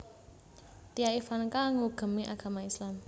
Tia Ivanka nggugemi agama Islam